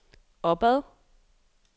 opad